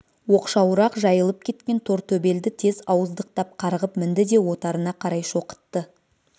оқшауырақ жайылып кеткен тортөбелді тез ауыздықтап қарғып мінді де отарына қарай шоқытты